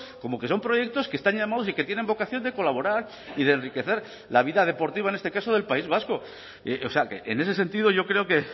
como que son proyectos que están llamados y que tienen vocación de colaborar y de enriquecer la vida deportiva en este caso del país vasco o sea que en ese sentido yo creo que